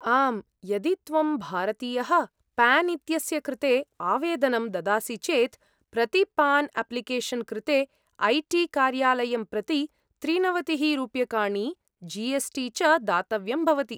आम्, यदि त्वं भारतीयः, पान् इत्यस्य कृते आवेदनं ददासि चेत्, प्रति पान् आप्लिकेशन् कृते ऐ टी कार्यालयं प्रति त्रिनवतिः रूप्यकाणि, जी एस् टी च दातव्यं भवति।